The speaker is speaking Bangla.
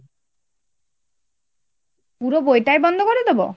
পুরো বইটাই বন্ধ করে দেব ?